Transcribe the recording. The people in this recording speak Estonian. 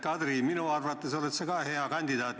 Kadri, ka minu arvates oled sa hea kandidaat.